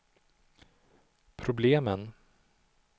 problemen